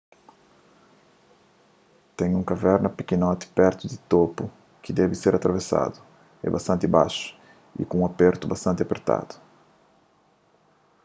ten un kaverna pikinoti pertu di topu ki debe ser atravesadu é bastanti baxu y ku un apertu bastanti apertadu